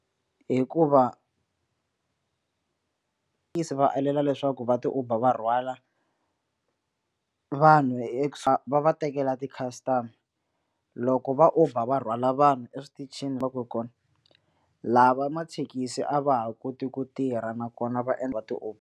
Hikuva va alela leswaku va ti uber va rhwala vanhu e va va tekela ti-customer-a loko va uber va rhwala vanhu eswitichini va ku kona lava mathekisi a va ha koti ku tirha nakona va endla va ti uber.